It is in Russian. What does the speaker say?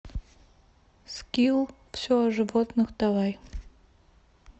скилл все о животных давай